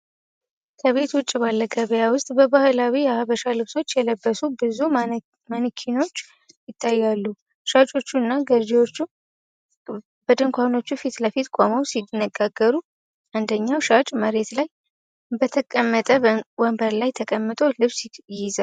ከቤት ውጭ ባለ ገበያ ውስጥ፣ በባህላዊ የሐበሻ ልብሶች የለበሱ ብዙ ማነኪኖች ይታያሉ። ሻጮችና ገዢዎች በድንኳኖቹ ፊት ለፊት ቆመው ሲነጋገሩ፣ አንደኛው ሻጭ መሬት ላይ በተቀመጠ ወንበር ላይ ተቀምጦ ልብስ ይይዛል።